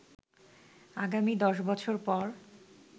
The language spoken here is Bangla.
আগামী ১০ বছর পর